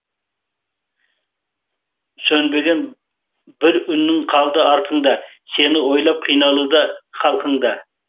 сөнбеген бір үнің қалды артыңда сені ойлап қиналуда халқың да